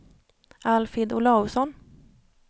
Alfhild Olausson